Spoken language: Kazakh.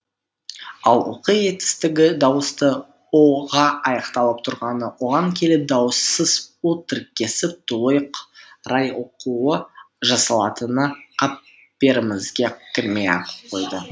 ал оқы етістігі дауысты ұ ға аяқталып тұрғаны оған келіп дауыссыз у тіркесіп тұйық рай оқұу жасалатыны қаперімізге кірмей ақ қойды